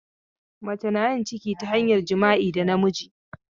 Mace na yin ciki ta hanyar jima'i da namiji.